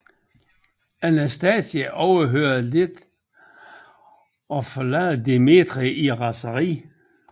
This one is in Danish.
Anastasia overhører dette og forlader Dimitri i raseri